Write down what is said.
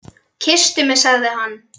Kysstu mig sagði hann.